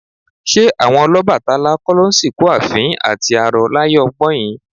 Ṣé àwọn Ọlọ́bàtálá kọ́ ló ń sìnkú àfín àti arọ láyé ọgbọ́in?